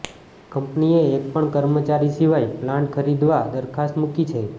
કંપનીએ એક પણ કર્મચારી સિવાય પ્લાન્ટ ખરીદવા દરખાસ્ત મુકી છે